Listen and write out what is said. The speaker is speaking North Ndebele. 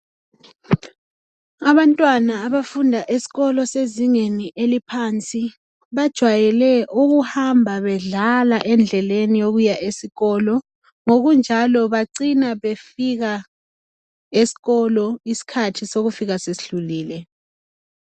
Abantwana abafunda esikolo sezingeni eliphansi bajwayele ukuhamba bedlala besiya esikolo ngokunjalo bacina befika esikolo isikhathi sokufika sesidlulile.